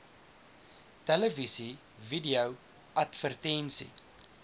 televisie video advertensie